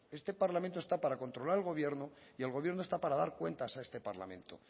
eso este parlamento está para controlar al gobierno y el gobierno está para dar cuentas a este parlamento